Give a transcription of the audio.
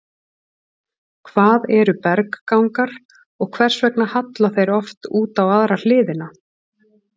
Hvað eru berggangar og hvers vegna halla þeir oft út á aðra hliðina?